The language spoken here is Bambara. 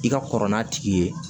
I ka kɔrɔ n'a tigi ye